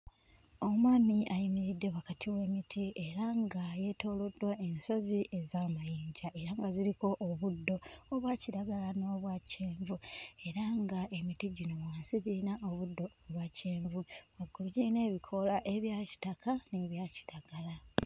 Omwami ayimiridde wakati w'emiti era nga yeetooloddwa ensozi ez'amayinja era nga ziriko obuddo obwa kiragala n'obwa kyenvu era ng'emiti gino wansi giyina obuddo obwa kyenvu, waggulu giyina ebikoola ebya kitaka n'ebya kiragala.